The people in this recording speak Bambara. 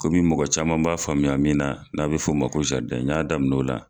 Komi mɔgɔ caman b'a faamuya min na n'a bɛ fɔ o ma ko n y'a daminɛ o la.